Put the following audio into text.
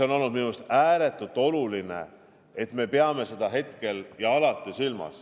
Minu arust on ääretult oluline, et me peame seda hetkel ja alati silmas.